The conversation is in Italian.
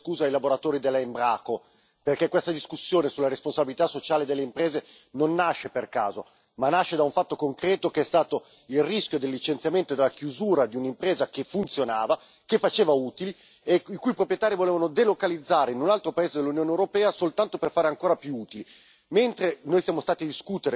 Intanto io credo che quest'Aula debba chiedere scusa ai lavoratori della Embraco, perché questa discussione sulla responsabilità sociale delle imprese non nasce per caso, ma nasce da un fatto concreto che è stato il rischio del licenziamento e della chiusura di un'impresa che funzionava, che faceva utili, i cui proprietari volevano delocalizzare in un altro paese dell'Unione europea soltanto per fare ancora più utili.